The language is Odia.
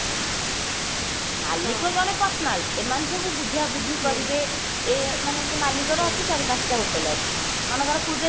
ମାଲିକ ଜେନ personal ଏମାନେ ସବୁ ବୁଝାବୁଝି କରିବେ ଏ ମାନେ ସେ ମାଲିକର ଅଛି ଚାରି ପାଞ୍ଚଟା hotel ଅଛି ମନେକର ପୁରୀରେ